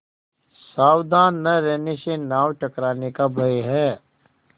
सावधान न रहने से नाव टकराने का भय है